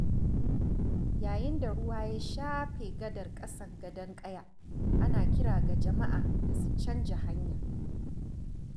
Yayin da ruwa ya shafe gadar ƙasar Gadon Ƙaya, ana kira ga jama'a da su canja hanya.